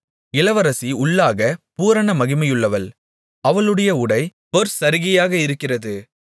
இளவரசி உள்ளாகப் பூரண மகிமையுள்ளவள் அவளுடைய உடை பொற்சரிகையாக இருக்கிறது